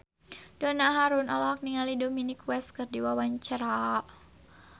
Donna Harun olohok ningali Dominic West keur diwawancara